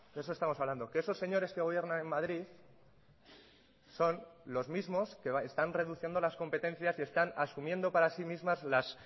eso estamos hablando que esos señores que gobiernan en madrid son los mismos que están reduciendo las competencias y están asumiendo para sí mismas las